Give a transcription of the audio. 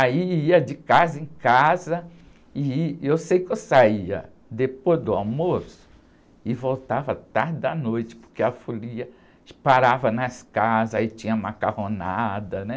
Aí ia de casa em casa ih, e eu sei que eu saía depois do almoço e voltava tarde da noite, porque a folia, parava nas casas, aí tinha macarronada, né?